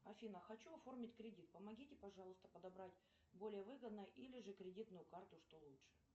афина хочу оформить кредит помогите пожалуйста подобрать более выгодно или кредитную карту что лучше